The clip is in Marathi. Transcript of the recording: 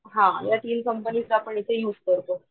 हा या तीन कंपनीचे आपण इथे युज करतो.